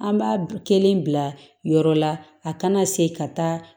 An b'a kelen bila yɔrɔ la a kana segin ka taa